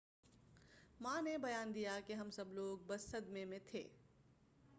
ماں نے بیان دیا کہ ہم سب لوگ بس صدمے میں تھے